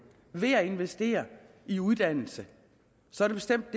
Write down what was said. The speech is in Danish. ved at investere i uddannelse så er det bestemt